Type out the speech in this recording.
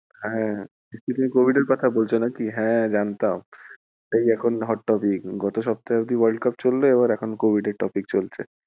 হ্যাঁ। Covid এর কথা বলছো নাকি হ্যাঁ জানতাম। সেই এখন hot topic গত সপ্তাহ অব্দি world cup চললো এবার এখন covid এর topic চলছে।